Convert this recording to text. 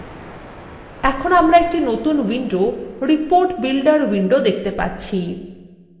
এখন আমরা একটি নতুন windowreport builder উইন্ডো দেখতে পাচ্ছি